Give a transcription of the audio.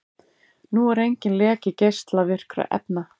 Nú er enginn leki geislavirkra efna